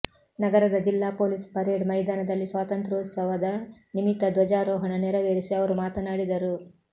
ನಗರದ ಜಿಲ್ಲಾ police parade ಮೈದಾನದಲ್ಲಿ ಸ್ವಾತಂತ್ರ್ಯೋತ್ಸವದ ನಿಮಿತ್ತ ಧ್ವಜಾರೋಹಣ ನೆರವೇರಿಸಿ ಅವರು ಮಾತನಾಡಿದರು